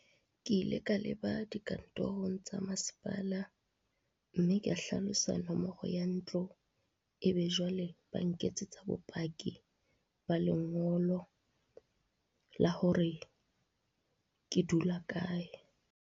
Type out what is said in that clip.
Ke ile ka leba dikantorong tsa masepala mme ka hlalosa nomoro ya ntlo, e be jwale ba nketsetsa bopaki ba lengolo la hore, ke dula kae.